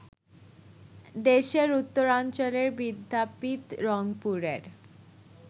দেশের উত্তরাঞ্চলের বিদ্যাপীঠ রংপুরের